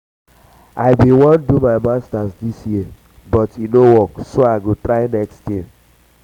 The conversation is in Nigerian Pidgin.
i bin wan do my um masters dis year but um e no work so i go try next year